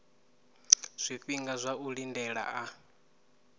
zwifhinga zwa u lindela a